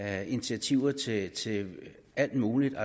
af initiativer til til alt muligt